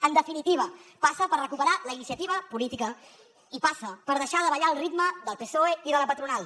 en definitiva passa per recuperar la iniciativa política i passa per deixar de ballar al ritme del psoe i de la patronal